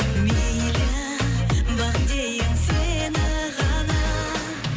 мейлі бағым дейін сені ғана